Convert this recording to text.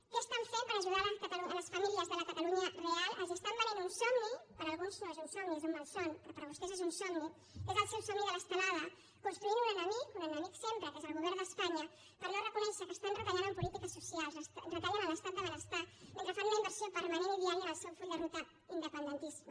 què estan fent per ajudar les famílies de la catalunya real els estan venent un somni per a alguns no és un somni és un malson però per a vostès és un somni que és el seu somni de l’estelada construint un enemic un enemic sempre que és el govern d’espanya per no reconèixer que estan retallant en polítiques socials retallen en l’estat del benestar mentre fan un inversió permanent i diària en el seu full de ruta independentista